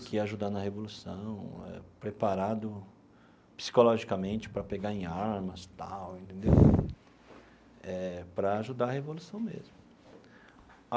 Que ia ajudar na Revolução, preparado psicologicamente para pegar em armas e tal entendeu eh, para ajudar a Revolução mesmo.